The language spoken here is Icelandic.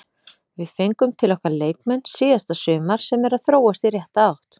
Við fengum til okkar leikmenn síðasta sumar sem eru að þróast í rétta átt.